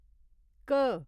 घ